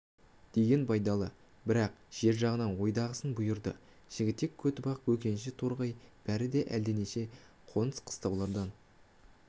деген байдалы бірақ жер жағынан ойдағысын бұйырды жігітек көтібақ бөкенші торғай бәрі де әлденеше қоныс қыстаулардан